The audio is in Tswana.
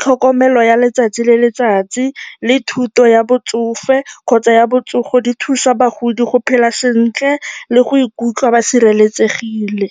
tlhokomelo ya letsatsi le letsatsi le thuto ya botsofe kgotsa ya botsogo, di thusa bagodi go phela sentle le go ikutlwa ba sireletsegile.